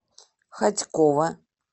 хотьково